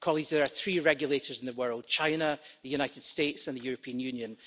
There are three regulators in the world China, the United States and the European Union.